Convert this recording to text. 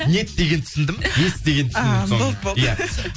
нет дегенді түсіндім есть деген түсіндім соңында болды болды иә